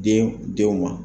Den denw ma